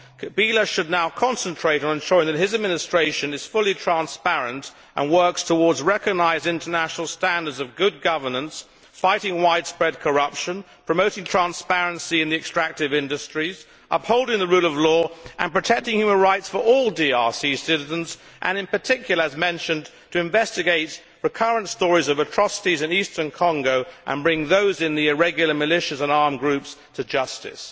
Kabila should now concentrate on ensuring that his administration is fully transparent and works towards recognised international standards of good governance, fighting widespread corruption, promoting transparency in the extractive industries, upholding the rule of law, protecting human rights for all DRC citizens and, in particular, as mentioned, investigating recurrent stories of atrocities in eastern Congo and bringing those in the irregular militias and armed groups to justice.